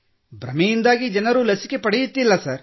ಭ್ರಮೆಯಿಂದಾಗಿ ಜನರು ಲಸಿಕೆ ಪಡೆಯುತ್ತಿಲ್ಲ ಸರ್